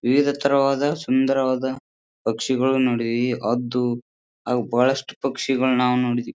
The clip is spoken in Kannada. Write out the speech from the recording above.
ವಿವಿಧತರವಾದ ಸುಂದರವಾದ ಪಕ್ಷಿಗಳು ನೋಡಿ. ಈ ಹದ್ದು ಹಾಗು ಬಹಳಷ್ಟು ಪಕ್ಷಿಗಳನ್ನು ನಾವು ನೋಡಿದ್ದೀವಿ.